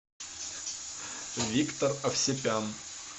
виктор овсепян